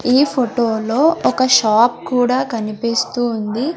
ఈ ఫోటో లో ఒక షాప్ కూడా కనిపిస్తూ ఉంది.